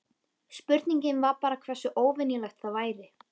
Spurningin var bara hversu óvenjulegt það væri.